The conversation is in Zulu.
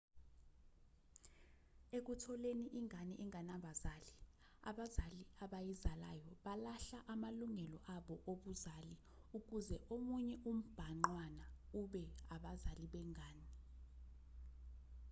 ekutholeni ingane enganabazali abazali abayizalayo balahla amalungelo abo obuzali ukuze omunye umbhangqwana ube abazali bengane